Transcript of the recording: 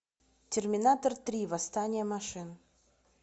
терминатор три восстание машин